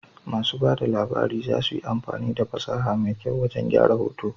Masu ba da labari za su yi amfani da fasaha mai kyau wajan gyran hoto